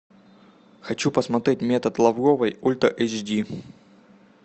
хочу посмотреть метод лавровой ультра эйч ди